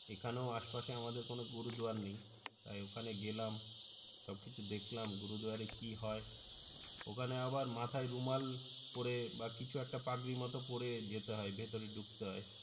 এখানেও আশপাশে আমাদের কোনও গুরুদয়ার নেই তাই ওখানে গেলাম সবকিছু দেখলাম গুরুদুয়ারাই কি হই ওখানে আবার মাথাই রুমাল পড়ে বা কিছু একটা পাগড়ি মত পড়ে যেতে হই ভেতরে ধুকতে হয়